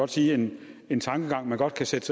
sige en tankegang vi godt kan sætte